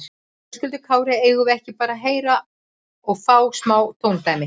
Höskuldur Kári: Eigum við ekki bara að heyra og fá smá tóndæmi?